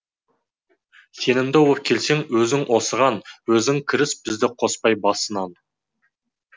сенімді боп келсең өзің осыған өзің кіріс бізді қоспай басынан